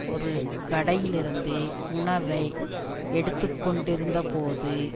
ஒரு கடையிலிருந்து உணவை எடுத்து கொண்டிருந்த போது